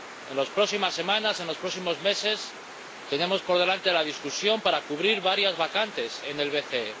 En las próximas semanas, en los próximos meses, tenemos por delante la discusión para cubrir varias vacantes en el BCE.